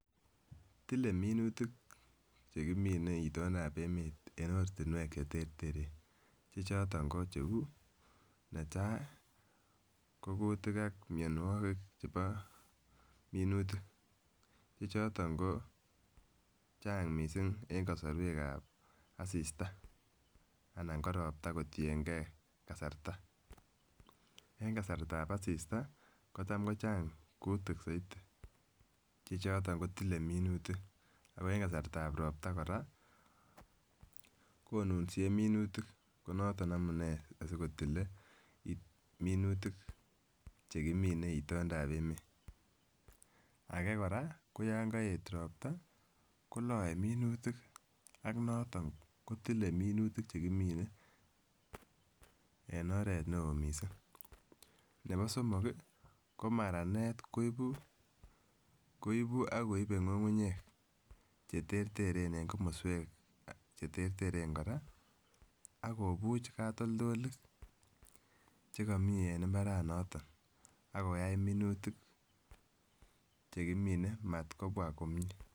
Tile minutik chekimine itondap emet en ortinwek chereteren che choton ko cheu netai ko kutik ak mionwokik chebo minutik che choton ko Chang missing en kosorwek ab assista anan ko ropta kotiyengee kasarta, en kasartab asistaa kotam kochang kutik soiti che choton kotile minutik AK en kasartab ropta Koraa konunsie minutik ko noton amunee asikotile minutik chekimine itondap emet. Age koraa ko yon koet ropta koloe minutik aK noton kotile minutik chekimine en oret neo missing, nebo somok kii ko maranet koibun ak koibe ngungunyek cheterteren en komoswek cheterteren Koraa ak kobuch kotoldoloik chekomii en imbaranoton ak koyai minutik chekimine matkobwa komie.